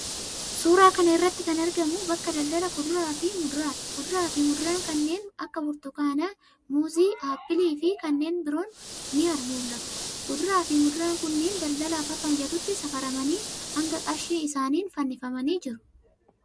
Suuraa kana irratti kan argamu bakka daldala kuduraafi muduraati. Kuduraafi muduraa kanneen akka burtukaana, muuzii, appiiliifi kanneen biroo ni mul'atu. Kuduraafi muduraan kunneen daldalaaf akka mijatutti safaramanii hanga qarshii isaaniin fannifamanii jiru.